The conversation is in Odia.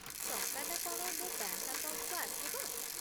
ଟଙ୍କାଟା କ'ଣ ମୋ ବ୍ୟାଙ୍କ୍ ଆକାଉଣ୍ଟକୁ ଆସିବ?